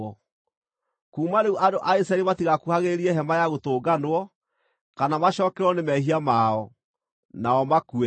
Kuuma rĩu andũ a Isiraeli matigakuhagĩrĩrie Hema-ya-Gũtũnganwo, kana macookererwo nĩ mehia mao, nao makue.